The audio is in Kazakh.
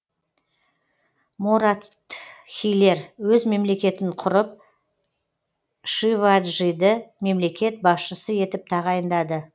моратхилер өз мемлекетін құрып шиваджиді мемлекет басшысы етіп тағайындады